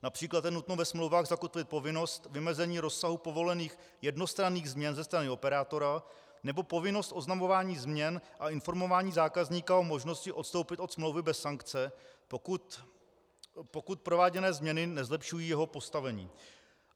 Například je nutno ve smlouvách zakotvit povinnost vymezení rozsahu povolených jednostranných změn ze strany operátora nebo povinnost oznamování změn a informování zákazníka o možnosti odstoupit od smlouvy bez sankce, pokud prováděné změny nezlepšují jeho postavení.